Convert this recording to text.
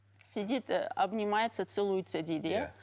сидит обнимается целуется дейді иә